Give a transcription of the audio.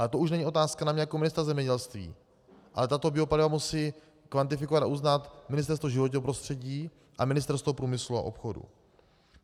Ale to už není otázka na mě jako ministra zemědělství, ale tato biopaliva musí kvantifikovat a uznat Ministerstvo životního prostředí a Ministerstvo průmyslu a obchodu.